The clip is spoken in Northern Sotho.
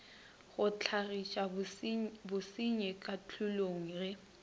go hlagiša basenyi kahlolong ge